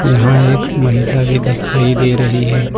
यहां एक महिला भी दिखाई दे रही है।